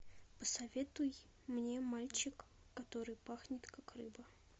посоветуй мне мальчик который пахнет как рыба